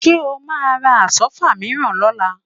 Ṣé o máa ra Àsọ́fà mìíràn lọ́la?